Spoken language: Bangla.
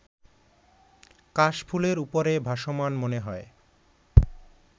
কাশফুলের উপরে ভাসমান মনে হয়